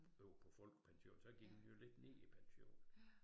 Over på folkepension så gik den jo lidt ned i pension